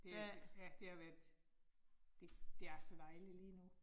Det jeg ser. Ja, det har været, det det er så dejligt lige nu